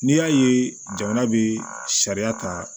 N'i y'a ye jamana bɛ sariya ta